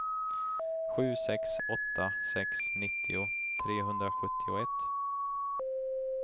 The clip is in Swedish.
sju sex åtta sex nittio trehundrasjuttioett